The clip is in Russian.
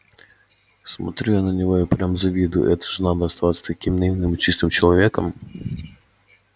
смотрю я на него и прям завидую это же надо остаться таким наивным и чистым человеком